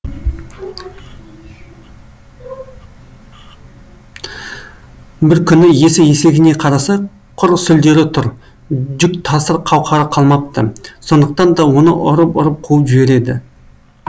бір күні иесі есегіне қараса құр сүлдері тұр жүк тасыр қауқары қалмапты сондықтан да оны ұрып ұрып қуып жібереді